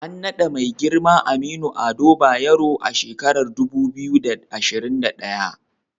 An naɗa Mai girma Aminu Ado Bayero a shekarar dubu biyu da ashirin da daya.